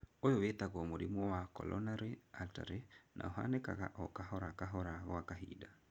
Ũyũ wĩtagwo mũrimũ wa coronary artery na ũhanĩkaga o kahora kahora gwa kahinda.